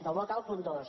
del bloc a el punt dos